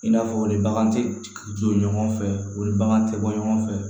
I n'a fɔ ni bagan tɛ jɔ ɲɔgɔn fɛ o ni bagan tɛ bɔ ɲɔgɔn fɛ